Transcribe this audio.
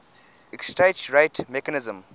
exchange rate mechanism